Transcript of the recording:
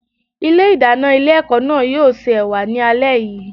Ilé ìdáná ilé ẹ̀kọ́ náà yóò se Ẹ̀wà ni alẹ́ yìí.